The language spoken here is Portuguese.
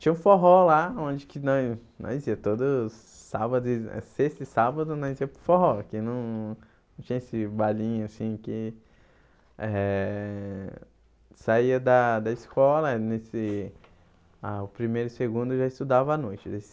Tinha um forró lá, onde que nós nós ia todos os sábado, e eh sexta e sábado, nós ia para o forró, que não não tinha esse bailinho assim que eh saía da da escola, eh nesse ah o primeiro e o segundo já estudava à noite.